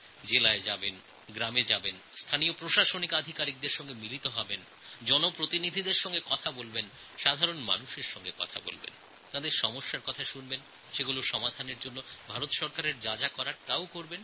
জেলাতে যাবেন গ্রামে যাবেন সেখানকার স্থানীয় সরকারী আধিকারিকদের সঙ্গে মিলিত হবেন জন প্রতিনিধি ও জনসাধারণের সঙ্গে কথা বলবেন তাঁদের সমস্যা সম্পর্কে অবগত হবেন এবং সমস্যার সমাধানে ভারত সরকারের যা করণীয় তা করবেন